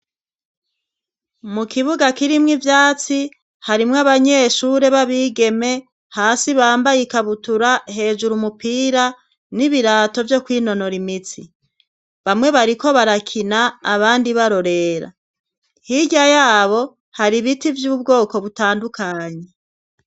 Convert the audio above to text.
mu kibuga kirimwo ivyatsi harimwo abanyeshure b'abigeme hasi bambaye ikabutura hejuru umupira n'ibirato vyo kwinonora imitsi bamwe bariko barakina abandi barorera hirya yabo hari biti vy'ubwoko butandukanye